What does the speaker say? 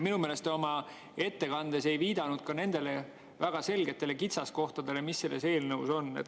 Minu meelest te oma ettekandes ka ei viidanud nendele väga selgetele kitsaskohtadele, mis selles eelnõus on.